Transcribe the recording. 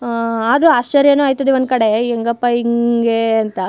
ಆ ಆದ್ರೂ ಆಶ್ಚರ್ಯನೂ ಆಯ್ತದೆ ಒಂದು ಕಡೆ ಹೆಂಗಪ್ಪಾ ಹಿಂಗೇ ಅಂತ.